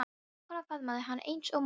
Vinkonan faðmaði hana eins og móðir.